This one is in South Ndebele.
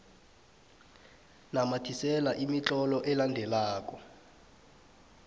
namathisela imitlolo elandelako